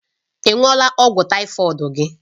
Ị ṅụọla ọgwụ tàífọ̀d gị?